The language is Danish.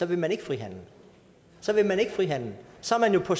vil man ikke frihandel så vil man ikke frihandel så er man jo på